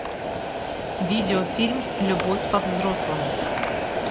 видеофильм любовь по взрослому